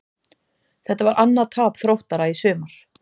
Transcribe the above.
Þetta var annað tap Þróttara í sumar.